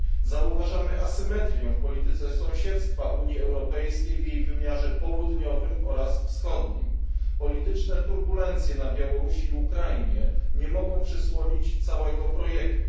Zauważamy asymetrię w polityce sąsiedztwa Unii Europejskiej w jej wymiarze południowym oraz wschodnim. Polityczne turbulencje na Białorusi i Ukrainie nie mogą przysłonić całego projektu.